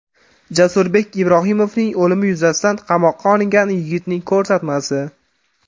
Jasurbek Ibrohimovning o‘limi yuzasidan qamoqqa olingan yigitning ko‘rsatmasi.